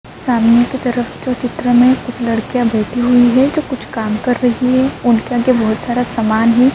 سامنے کی طرف جو چترا مے لڑکیا بیٹھی ہوئی ہے۔ جو کچھ کام کر رہی ہے۔ انکے آگے بھوت سارا سامان ہے۔